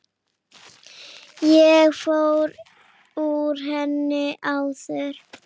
Ég fór úr henni áðan.